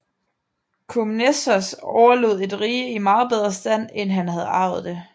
Komnenos overlod et rige i meget bedre stand end han havde arvet det